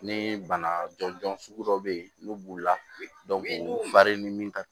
Ni bana jɔnjɔn sugu dɔw bɛ yen n'u b'u lafari ni min ka